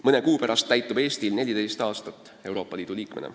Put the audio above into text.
Mõne kuu pärast täitub Eestil 14 aastat Euroopa Liidu liikmena.